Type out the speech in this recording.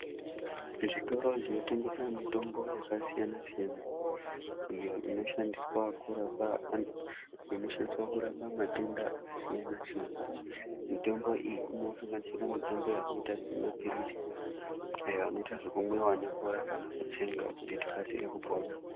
Zvitoro zvinotengesa mitombo yakasiyana-siyana iyo inoshandiswa kurapa a inoshandiswa kurapa matenda akasiyana-siyana. Mitombo iyi inosanganisira mitombo yakaita semaphirizi ayo anoita zvekumwiva nemvura kana kutsenga kuti tikasire kupona.